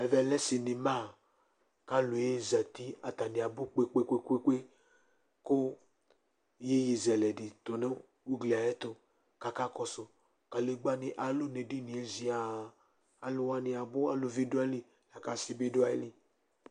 Ɛvɛ lɛ cinema, k'alʋ aha ɛzati,, atani abʋ kpekpekpe kʋ yeye zɛlɛ di tʋ nʋ ugli yɛ ayɛtʋ k'aka kɔsʋ Kadegbani alʋ n'ɛɖini yɛ ǰian Alʋ wani abʋ, aluvi dʋ ayili, la k'asi bi dʋ ayili